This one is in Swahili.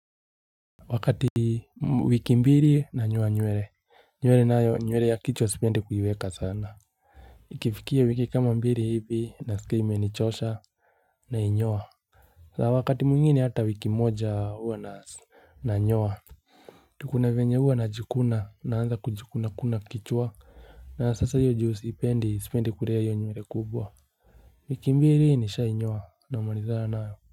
Wakati wiki mbili nanyoa nywele, nywele nayo nywele ya kichwa sipendi kuiweka sana Ikifikia wiki kama mbili hivi nasikia imenichosha nainyoa Wakati mwingine hata wiki moja huwa na nyoa kuna venye huwa najikuna naanza kujikuna kuna kichwa na sasa hiyo juu sipendi sipendi kulea nywele kubwa wiki mbili nishainyoa namalizana nayo.